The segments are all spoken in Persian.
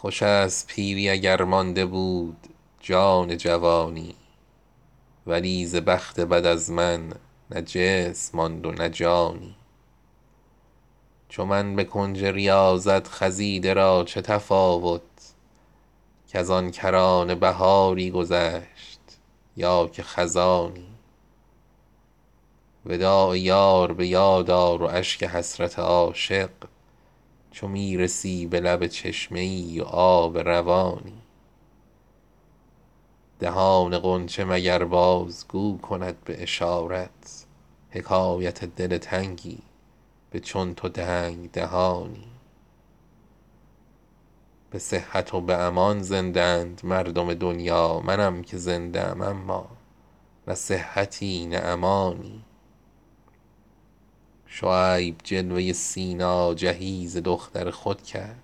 خوشست پیری اگر مانده بود جان جوانی ولی ز بخت بد از من نه جسم ماند و نه جانی چو من به کنج ریاضت خزیده را چه تفاوت کزان کرانه بهاری گذشت یا که خزانی وداع یار بیاد آر و اشک حسرت عاشق چو میرسی به لب چشمه ای و آب روانی دهان غنچه مگر بازگو کند به اشارت حکایت دل تنگی به چون تو تنگ دهانی جهانیان به جهان می دهند صحبت جانان منم که صحبت جانان نمی دهم به جهانی به صحت و به امان زنده اند مردم دنیا منم که زنده ام اما نه صحتی نه امانی به رمز و راز دهان تو پی نمی برم اما به هر حدیث تو پی می برم به راز نهانی شعیب جلوه سینا جهیز دختر خود کرد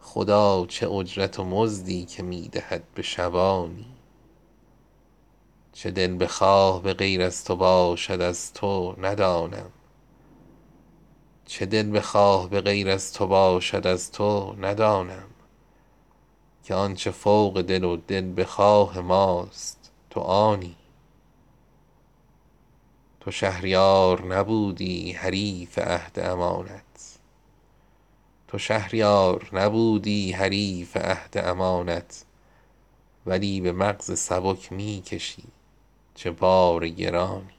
خدا چه اجرت و مزدی که می دهد به شبانی در آستان تو کآنجا نیاز در نگشوده ست همه به پشت درند و گدای آبی و نانی زبان به شکر همین یک زبان گشودمی ای دوست اگر به هر سر موی من از تو بود زبانی چه دلبخواه به غیر از تو باشد از توندانم که آنچه فوق دل و دلبخواه ماست تو آنی به غفلت از تو چه عمری تباه کرده ام اکنون امان نمی دهم از بیم غفلت تو به آنی نه مستحق مکافات مومنیم و نه کافر تجارتی نه به امید سود و بیم زیانی تو شهریار نبودی حریف عهد امانت ولی به مغز سبک می کشی چه بار گرانی